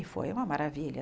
E foi uma maravilha.